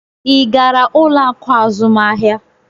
Ị gara ụlọ akụ azụmahịa?